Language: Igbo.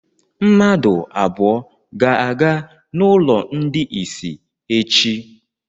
Mmadụ abụọ ga-aga n'ụlọ ndị isi echi.